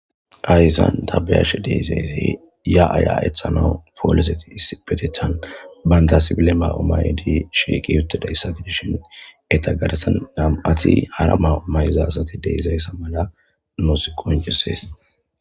Hayisan ta be,izayiti ya,a ya,anawu poliseti issippetetani banta sibile mayo mayidi shiqidayisa gidishin eta garsan na,mati hara mayo mayiza asati dizayisa mala nusi qonccises